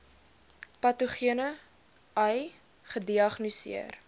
patogene ai gediagnoseer